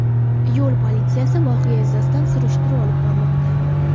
Yo‘l politsiyasi voqea yuzasidan surishtiruv olib bormoqda.